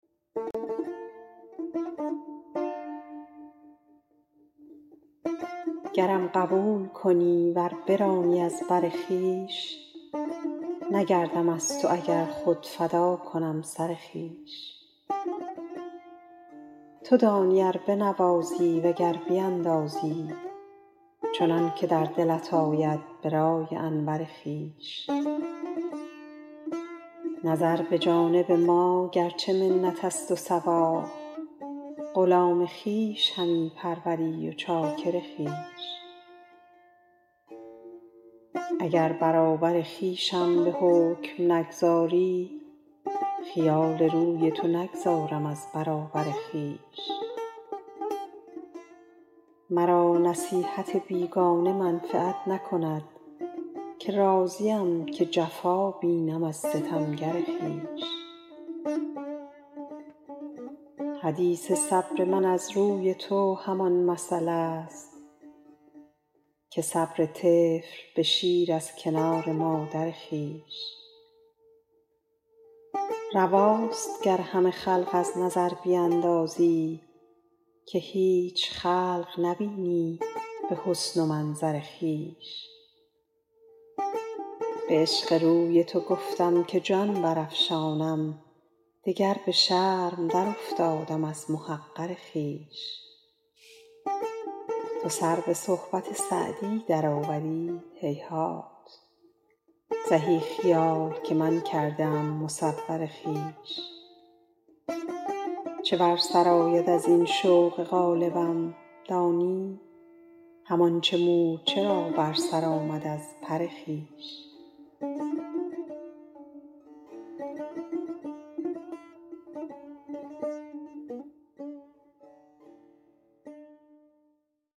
گرم قبول کنی ور برانی از بر خویش نگردم از تو و گر خود فدا کنم سر خویش تو دانی ار بنوازی و گر بیندازی چنان که در دلت آید به رأی انور خویش نظر به جانب ما گر چه منت است و ثواب غلام خویش همی پروری و چاکر خویش اگر برابر خویشم به حکم نگذاری خیال روی تو نگذارم از برابر خویش مرا نصیحت بیگانه منفعت نکند که راضیم که قفا بینم از ستمگر خویش حدیث صبر من از روی تو همان مثل است که صبر طفل به شیر از کنار مادر خویش رواست گر همه خلق از نظر بیندازی که هیچ خلق نبینی به حسن و منظر خویش به عشق روی تو گفتم که جان برافشانم دگر به شرم درافتادم از محقر خویش تو سر به صحبت سعدی درآوری هیهات زهی خیال که من کرده ام مصور خویش چه بر سر آید از این شوق غالبم دانی همان چه مورچه را بر سر آمد از پر خویش